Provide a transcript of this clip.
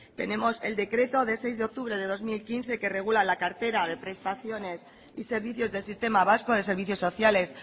tenemos el decreto de seis de octubre de dos mil quince que regula la cartera de prestaciones y servicios del sistema vasco de servicios sociales